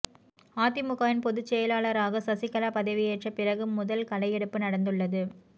அதிமுகவின் பொதுசெயலாளராக சசிகலா பதவி ஏற்ற பிறகு முதல் களை எடுப்பு நடந்துள்ளது